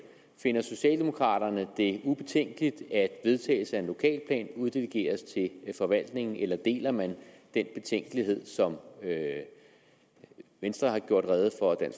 finder socialdemokraterne det ubetænkeligt at vedtagelse af en lokalplan uddelegeres til forvaltningen eller deler man den betænkelighed som venstre har gjort rede